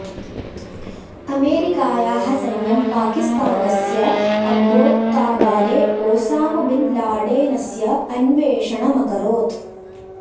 अमेरिकायाः सैन्यं पाकिस्तानस्य अब्बोत्ताबादे ओसाम बिन् लाडेनस्य अन्वेषणमकरोत्